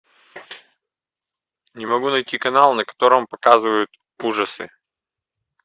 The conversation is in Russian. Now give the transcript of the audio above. не могу найти канал на котором показывают ужасы